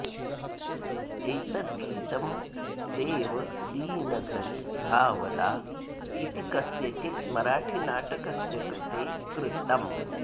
एतत् गीतं देव दीनघरि धावला इति कस्यचित् मराठिनाटकस्य कृते कृतम्